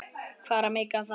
Hvað er að meika það?